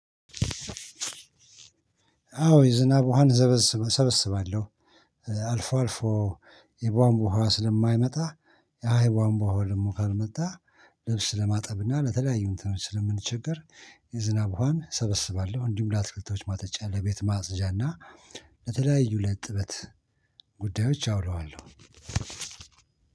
አዎ የዝናብ ውሃን ዘበስባለሁ ሰበስባለሁ አልፎ አልፎ የቧንቧ ውሃ ስለማይመጣ ያ የቧንቧ ውሃ ደግሞ ካልመጣ ልብስ ለማጠብና ለተለያዩ እንትኖች ስለምንቸገር የዝናብ ውሃን ሰበስባለሁ። እንዲሁም ለአትክልቶች ማጠጫ ለቤት ማጽጃና ለተለያዩ ለእጥበት ጉዳዮች አውለዋለሁ።